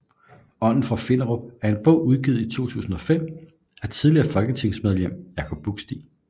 Ånden fra Finderup er en bog udgivet i 2005 af tidligere folketingsmedlem Jacob Buksti